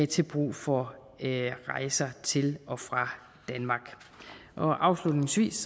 til brug for rejser til og fra danmark afslutningsvis